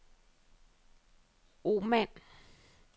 Oman